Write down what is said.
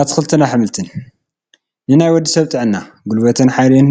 ኣትክልትን ኣሕምልትን፡- ንናይ ወዲ ሰብ ጥዕና ፣ ጉልበትን ሓይልን